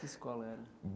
Que escola era?